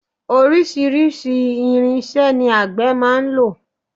Oríṣiríṣi irinṣẹ́ ni àgbè máa ń lò.